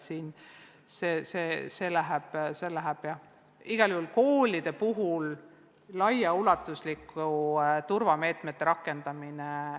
Koolide jaoks tähendab see igal juhul laiaulatuslike turvameetmete rakendamist.